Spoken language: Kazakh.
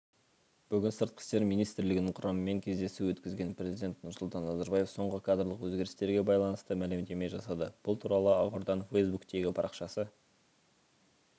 бүгін сыртқы істер министрлігінің құрамымен кездесу өткізген президент нұрсұлтан назарбаев соңғы кадрлық өзгерістерге байланысты мәлімдеме жасады бұл туралы ақорданың фейсбуктегі парақшасы